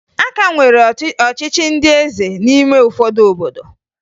A ka nwere ọchịchị ndị eze n'ime ụfọdụ obodo